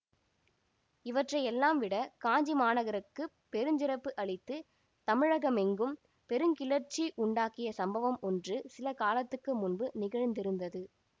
இவற்றையெல்லாம்விட காஞ்சி மாநகருக்குப் பெருஞ்சிறப்பு அளித்து தமிழகமெங்கும் பெருங்கிளர்ச்சி உண்டாக்கிய சம்பவம் ஒன்று சில காலத்துக்கு முன்பு நிகழ்ந்திருந்தது